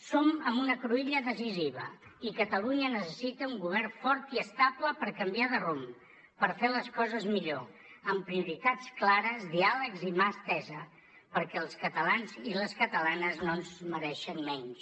som en una cruïlla decisiva i catalunya necessita un govern fort i estable per canviar de rumb per fer les coses millor amb prioritats clares diàlegs i mà estesa perquè els catalans i les catalanes no es mereixen menys